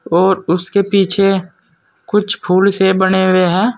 और उसके पीछे कुछ फूल से बने हुए हैं।